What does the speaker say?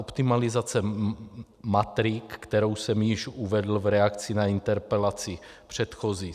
Optimalizace matrik, kterou jsem již uvedl v reakci na interpelaci předchozí.